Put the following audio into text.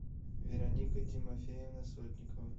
вероника тимофеевна сотникова